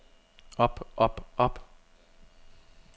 op op op